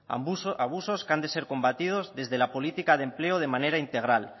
abusos que han de ser combatidos desde la política de empleo de manera integral